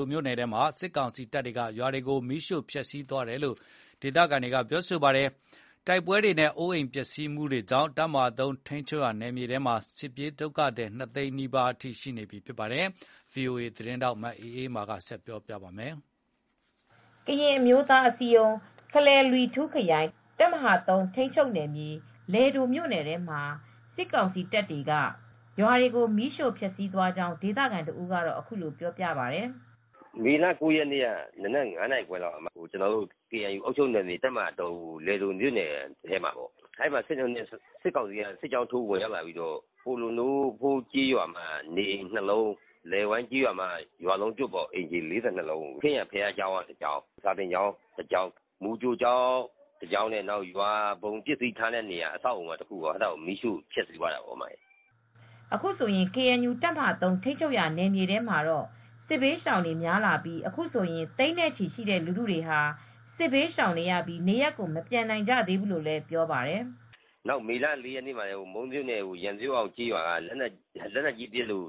ိုမြို့နယ်ထဲမှာ စစ်ကောင်စီတပ်တွေက ရွာတွေကို မီးရှို့ဖျက်ဆီးသွားတယ်လို့ ဒေသခံတွေက ပြောပါတယ်။ တိုက်ပွဲတွေနဲ့ အိုးအိမ်ပျက်စီးမှုတွေကြောင့် တပ်မဟာ ထိမ်းချုပ်နယ်မြေထဲမှာ စစ်ဘေးရှောင်ဒုက္ခသည် နှစ်သိန်းနီးပါး ရှိနေပြီ ဖြစ်ပါတယ်။ ဒီသတင်းကို ဗွီအိုအေသတင်းထောက် မအေးအေးမာက သတင်းပေးပို့ထားပါတယ်။ KNU ကရင်အမျိုးသားအစည်းအရုံး ခလယ်လွီထူခရိုင် တပ်မဟာ ၃ ထိမ်းချုပ်နယ်မြေ လယ်ဒိုမြို့နယ်ထဲမှာ စစ်ကောင်စီတပ်တွေက ရွာတွေကို မီးရှို့ဖျက်ဆီးသွားကြောင်း ဒေသခံတဦးက အခုလိုပြောပြပါတယ်။ " မေလ ၉ရက်နေ့ က မနက် ၅နာခွဲလောက် ကျနော်တို့ကေအန်ယူ အုပ်ချုပ်နယ်မြေ တပ်မဟာ လယ်ဒို မြို့နယ်ထဲမှာ အဲဒီမှာ စစ်ကောင်စီက စစ်ကြောင်းထိုးလာပြီးတော့ပိုးလိုးနိုဖိုး ကျေးရွာမှာနေအိမ်၂လုံး လယ်ဝိုင်းကျေးရွာမှာ အိမ်ခြေ ၄၂လုံး ရွာလုံးကျွတ် ခရစ်ယာန်ဘုရားကျောင်း၊ စာသင်ကျောင်းတစ်ကျောင်း၊ မူကြိုကျောင်းနှင့် ရွာဘုံ ပစ္စည်းထားရာနေရာ အဆောက်အဦးအားလုံးကို မီးရှို့ဖျက်ဆီးသွားတယ်။ " ကေအန်ယူ တပ်မဟာ ထိမ်းချုပ်ရာ နယ်မြေထဲမှာတော့ စစ်ဘေးရှောင်တွေ များလာပြီး အခုဆိုရင် သိန်းနဲ့ချီတဲ့လူထုတွေဟာ စစ်ဘေးရှောင်နေရလို့ နေရပ်ကို မပြန်နိုင်ကြသေးဘူးလို့လည်း ပြောပါတယ်။ " နောက် မေလ ၄ ရက်နေ့မှာ မုန်းမြို့နယ်ထဲက ရန်မျိုးအောင် ကျေးရွာမှာလက်နက်ကြီးပစ်လို့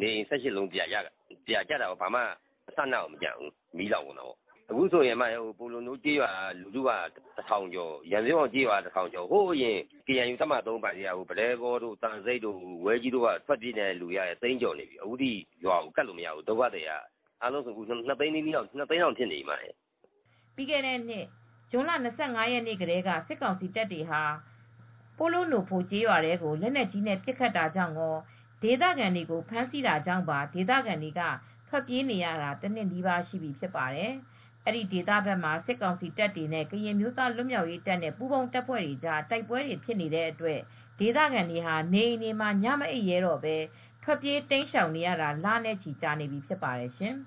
နေအိမ် ၁၈ လုံးပြာကျတယ်။ ဘာမှ အစအနမကျဘူး မီးလောင်သွားတာပေါ့။ အခုဆိုရင် ပိုးလိုးနိုဖိုးကျေးရွာက တထောင်ကျော် ရန်မျိုးအောင်ကျေးရွာက တထောင်ကျော် ဟိုးအရင် ကေအန်ယူ တပ်မဟာ အပိုင်ထဲက ပဒဲကောတို့ ဝဲကြီးတို့ သံဆိပ်တို့က လူတွေကလည်း ရွာတွေကို ပြန်မကပ်နိုင်ဘူး။ ထွက်ပြေးနေရတာ အခုဆိုရင် ဒုက္ခသည်က ၂ သိန်းနီးနီးလောက် ကပ်နေပြီ။ " ပြီးခဲ့တဲ့နှစ် ဇွန်လ ၂၅ ရက်နေ့ကတည်း စစ်ကောင်စီတပ်တွေဟာ ပိုးလိုးနိုဖို ကျေးရွာကို လက်နက်ကြီးနဲ့ပစ်ခတ်တာကြောင့်ကော ဒေသခံတွေကို ဖမ်းဆီးတာကြောင့်ပါ ဒေသခံတွေ ထွက်ပြေးနေရတာဟာြဖင့် တနှစ်နီးပါး ရှိနေပြီဖြစ်ပါတယ်။ အဲဒီ ဒေသဖက်မှာ စစ်ကောင်စီတပ်တွေနဲ့ ကရင်အမျိုးသားလွတ်မြောက်ရေး ပူးပေါင်းတပ်ဖွဲ့တွေကြားတိုက်ပွဲတွေဖြစ်တဲ့အတွက် ဒေသခံတွေဟာ နေအိမ်တွေမှာ ညမအိပ်ရဲတော့ပဲ ထွက်ပြေးတိမ်းရှောင် နေရတာ လနဲ့ချီ ကြာနေပြီ ဖြစ်ပါတယ်ရှင်။